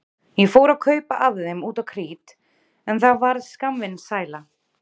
Ég fór að kaupa af þeim út á krít en það varð skammvinn sæla.